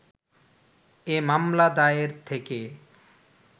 এ মামলা দায়ের থেকে